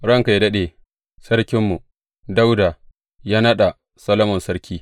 Ranka yă daɗe, Sarkinmu Dawuda ya naɗa Solomon sarki.